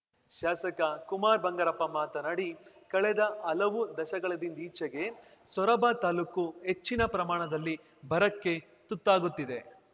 ಶಾಸಕ ಕುಮಾರ್‌ ಬಂಗಾರಪ್ಪ ಮಾತನಾಡಿ ಕಳೆದ ಹಲವು ದಶಕಗಳಿಂದೀಚೆಗೆ ಸೊರಬ ತಾಲೂಕು ಹೆಚ್ಚಿನ ಪ್ರಮಾಣದಲ್ಲಿ ಬರಕ್ಕೆ ತುತ್ತಾಗುತ್ತಿದೆ